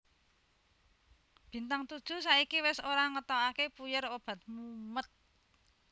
Bintang Todjoeh saiki wes ora ngetokake puyer obat mumet